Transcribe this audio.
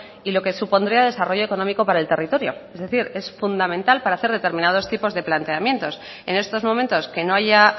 y lo que supondría desarrollo económico para el territorio es decir es fundamental para hacer determinados tipos de planteamientos en estos momentos que no haya